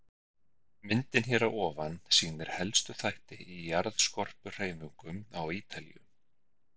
Myndin hér að ofan sýnir helstu þætti í jarðskorpuhreyfingum á Ítalíu.